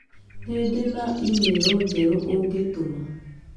Nĩ ndĩ na e-mail njerũ ũngĩtũma